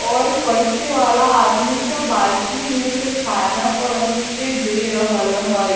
और परसे वाला आदमी सब बाल्टी में से खाना परोस के दे रहल हई।